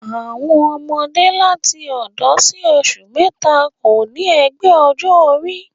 Àwọn ọmọdé láti òdo sí oṣù mẹ́ta kò ní ẹgbẹ́ ọjọ́ orí